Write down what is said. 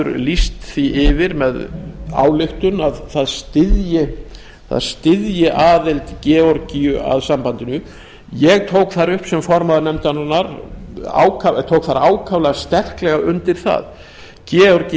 lýst því yfir með ályktun að það styðji aðild georgíu að sambandinu ég tók sem formaður nefndarinnar ákaflega sterklega undir það georgía